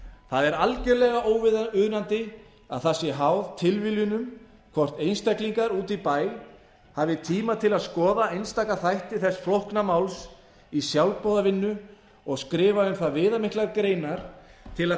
það er algjörlega óviðunandi að það sé háð tilviljunum hvort einstaklingar úti í bæ hafi tíma til að skoða einstaka þætti þess flókna máls í sjálfboðavinnu og skrifa um það viðamiklar greinar til að